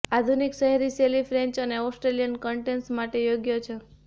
આધુનિક શહેરી શૈલી ફ્રેન્ચ અને ઑસ્ટ્રિયન કર્ટેન્સ માટે યોગ્ય છે